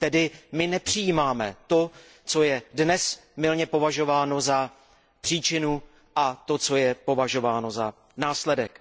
Tedy mi nepřijímáme to, co je dnes mylně považováno za příčinu, a to, co je považováno za následek.